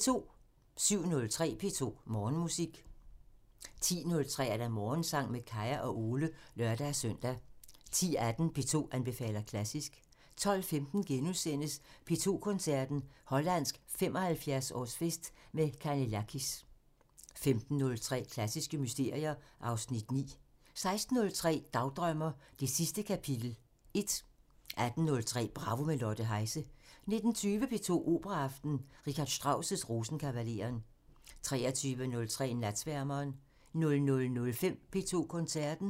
07:03: P2 Morgenmusik 10:03: Morgensang med Kaya og Ole (lør-søn) 10:18: P2 anbefaler klassisk 12:15: P2 Koncerten – Hollandsk 75-årsfest med Canellakis * 15:03: Klassiske mysterier (Afs. 9) 16:03: Dagdrømmer: Det sidste kapitel 1 18:03: Bravo – med Lotte Heise 19:20: P2 Operaaften – R. Strauss: Rosenkavaleren 23:03: Natsværmeren 00:05: P2 Koncerten